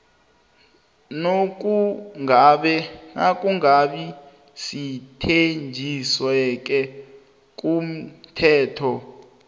nokungabi semthethwenisisekelo komthetho